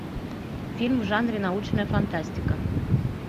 фильм в жанре научная фантастика